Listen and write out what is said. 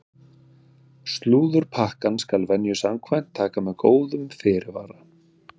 Slúðurpakkann skal venju samkvæmt taka með góðum fyrirvara!